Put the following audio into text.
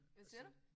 Hvad siger du?